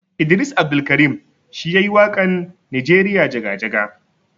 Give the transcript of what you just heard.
Idris Abdulkarim shi yayi wakan nijeriya jaga-jaga.